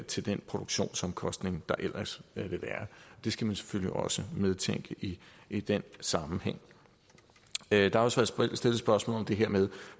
til den produktionsomkostning der ellers vil være det skal man selvfølgelig også medtænke i i den sammenhæng der er også blevet stillet spørgsmål om det her med